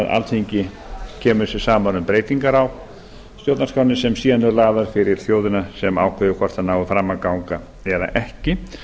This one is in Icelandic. alþingi kemur sér saman um breytingar á stjórnarskránni sem síðan eru lagðar fyrir þjóðina sem ákveður hvort þær nái fram að ganga eða ekki